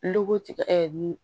Lu tigɛ ni